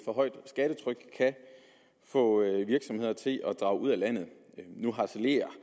for højt et skattetryk kan få virksomheder til at drage ud af landet nu harcelerer